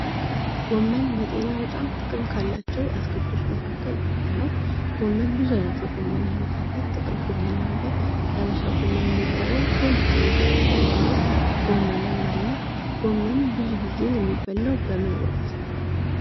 ጎመን ለጤና በጣም ጥቅም ካላቸው አትክልቶች መካከል አንዱ ነው። ጎመን ብዙ አይነት የጎመን አይነት አለ። ጥቅል ጎመን የሀበሻ አለ ጎመን የሚባለው ትልልቅ ትልልቅ ቅጠል ያለው ጎመንም አለ ጎመን ብዙ ጊዜ የሚበላው በምን ወቅት ነው?